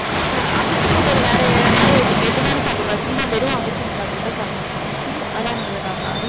அக்கா அவிச்ச முட்டையில வேற மாதிரி எது எது மாதிரி சாப்பிடக் கூடாது. சும்மா வெறும் அவிச்ச முட்டை அப்படிதான் சாப்பிடணும் அதான் நல்லதாக்கா?